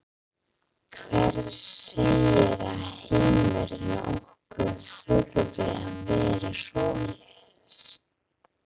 Hver segir að heimurinn okkar þurfi að vera svoleiðis?